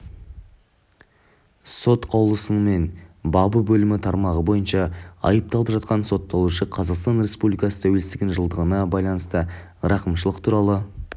сот қаулысымен бабы бөлімі тармағы бойынша айыпталып жатқан сотталушы қазақстан республикасы тәуелсіздігінің жылдығына байланысты рақымшылық туралы